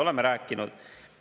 Oleme rääkinud.